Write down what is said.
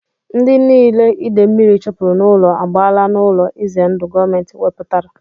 Ndị niile ide mmiri chụpụrụ n'ụlọ agbaala n'ụlọ ize ndụ gọọmenti wepụtara